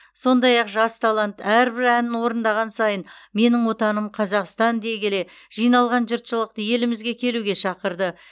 сондай ақ жас талант әрбір әнін орындаған сайын менің отаным қазақстан дей келе жиналған жұртшылықты елімізге келуге шақырды